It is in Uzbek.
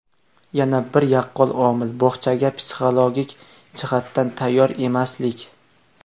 Yana bir yaqqol omil bog‘chaga psixologik jihatdan tayyor emaslik.